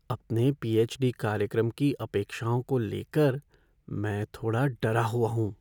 अपने पीएच.डी. कार्यक्रम की अपेक्षाओं को ले कर मैं थोड़ा डरा हुआ हूँ।